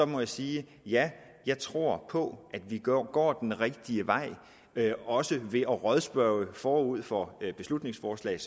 må jeg sige at ja jeg tror på at vi går den rigtige vej også ved at rådspørge dem forud for beslutningsforslaget